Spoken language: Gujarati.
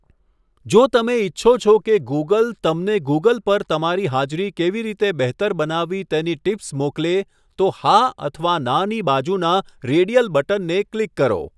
જો તમે ઇચ્છો છો કે ગૂગલ તમને ગૂગલ પર તમારી હાજરી કેવી રીતે બહેતર બનાવવી તેની ટીપ્સ મોકલે, તો 'હા' અથવા 'ના' ની બાજુના રેડિયલ બટનને ક્લિક કરો.